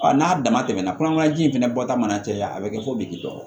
n'a dama tɛmɛna kɔnɔna ji in fɛnɛ bɔta mana caya a bi kɛ fo bigidɔgɔ